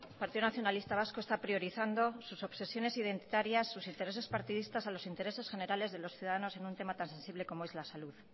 partido nacionalista vasco está priorizando sus obsesiones identitarias sus intereses partidistas a los intereses generales de los ciudadanos en un tema tan sensible como es la salud